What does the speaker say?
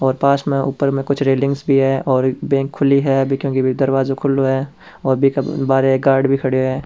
पास में ऊपर में कुछ रेलिंगस भी है और एक बैंक खुली है अभी क्युकी दरवाजो खुलो है और बहारे एक गॉर्ड भी खड्यो है।